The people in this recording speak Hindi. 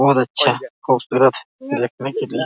बहुत अच्छा खूबसूरत है देखने के लिए।